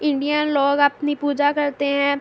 Indian لوگ اپنی پوجا کرتے ہے۔